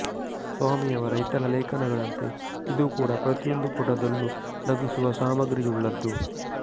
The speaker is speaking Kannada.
ಸ್ವಾಮಿಯವರ ಇತರ ಲೇಖನಗಳಂತೆ ಇದೂ ಕೂಡ ಪ್ರತಿಯೊಂದು ಪುಟದಲ್ಲೂ ನಗಿಸುವ ಸಾಮಗ್ರಿಯುಳ್ಳದ್ದು